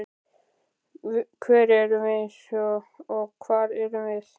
Hver erum við og hvað erum við?